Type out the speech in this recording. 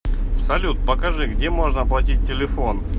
салют покажи где можно оплатить телефон